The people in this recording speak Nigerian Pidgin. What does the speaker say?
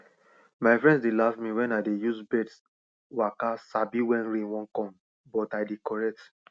my friends dey laugh me wen i use birds waka sabi wen rain wan come but i dey correct